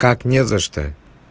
как не за что